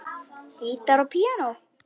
Gítar og píanó.